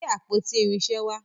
gbé àpótí irinṣẹ wà.